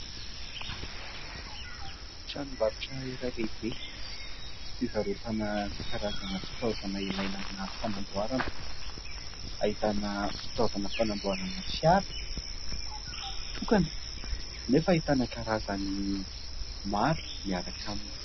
Tranombarotra iray lehibe fivarotana karazana fitaovana ; ilaina amina fanamboarana ahitana fitaovana fanamboarana fiara tokana nefa ahitana karazany maro miaraka aminy.